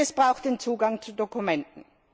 Und es braucht den Zugang zu Dokumenten.